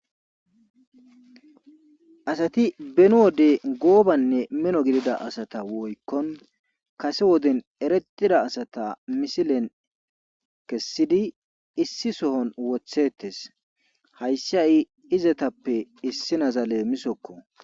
Asati beni wode goobanne mino gidida asata kase woden eretida asata misilen kesidi issi sohon woththetees. hayssi hay izetappe issinaza leemisokko.